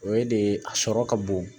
O ye de a sɔrɔ ka bon